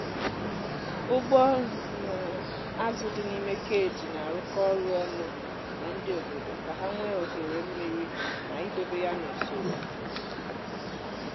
ụgbọ azụ dị n'ime cage na-arụkọ ọrụ ọnụ na ndị obodo ka ha nwee ohere mmiri na idobe ya n’usoro.